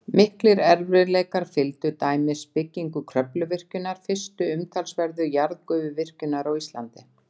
Miklir erfiðleikar fylgdu til dæmis byggingu Kröfluvirkjunar, fyrstu umtalsverðu jarðgufuvirkjunar á Íslandi.